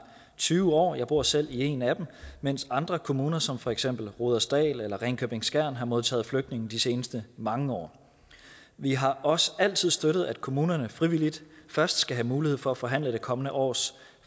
tyve år jeg bor selv i en af dem mens andre kommuner som for eksempel rudersdal eller ringkøbing skjern har modtaget flygtninge de seneste mange år vi har også altid støttet at kommunerne frivilligt først skal have mulighed for at forhandle det kommende års